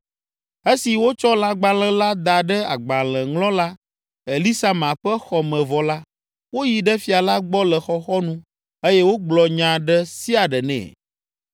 Esi wotsɔ lãgbalẽ la da ɖe agbalẽŋlɔla Elisama ƒe xɔ me vɔ la, woyi ɖe fia la gbɔ le xɔxɔnu eye wogblɔ nya ɖe sia ɖe nɛ.